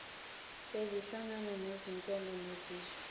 bezinhlanga bezinkolo nezizwe